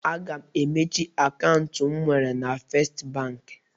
Aga m emechi akaụntụ m nwere na Festi Bankị.